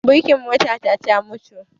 Birkin mota ta ya mutu